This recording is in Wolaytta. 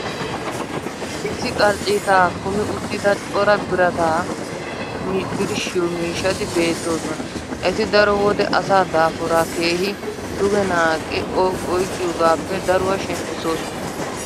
issi qarcciitaa kummi uttida cora birataa birshshiyo miishshati beetoosona. eti daro wode asaa daafuraa keehi dugge naaqqi oyqqiyoogaappe daruwa shemppisoosona.